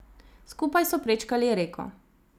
Skupaj so prečkali reko.